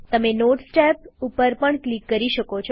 તમે notes tab ઉપર પણ ક્લિક કરી શકો છો